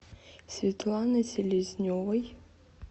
светланы селезневой